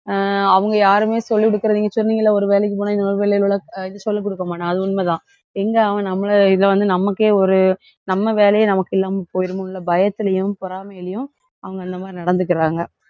அஹ் அவங்க யாருமே சொல்லிக் கொடுக்கிறது, நீங்க சொன்னீங்கல்ல ஒரு வேலைக்கு போனா, இன்னொரு வேலையில் உள்ள அஹ் இது சொல்லிக் கொடுக்க மாட்டான், அது உண்மைதான். எங்க அவன் நம்மள~ இதை வந்து, நமக்கே ஒரு நம்ம வேலையே நமக்கு இல்லாமல் போயிருமோன்ற பயத்திலேயும், பொறாமையிலயும் அவங்க அந்த மாதிரி நடந்துக்கறாங்க.